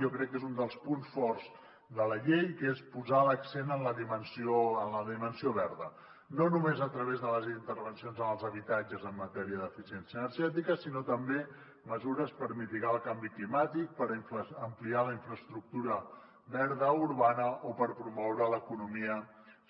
jo crec que és un dels punts forts de la llei perquè és posar l’accent en la dimensió verda no només a través de les intervencions en els habitatges en matèria d’eficiència energètica sinó també amb mesures per mitigar el canvi climàtic per ampliar la infraestructura verda urbana o per promoure l’economia